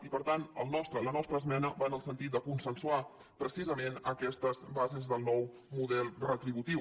i per tant la nostra es·mena va en el sentit de consensuar precisament aques·tes bases del nou model retributiu